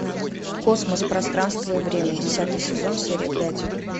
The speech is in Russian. космос пространство и время десятый сезон серия пять